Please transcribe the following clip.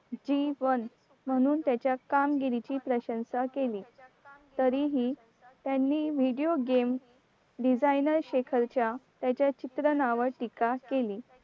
जीवन म्हणून त्याच्या कामगिरीची प्रशंशा केली तरीही त्यांनी video game designer शेखरच्या त्याच्या चित्रनावर टीका केली